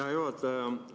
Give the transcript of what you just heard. Hea juhataja!